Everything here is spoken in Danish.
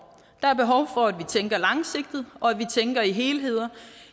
der er behov for at vi tænker langsigtet og at vi tænker i helheder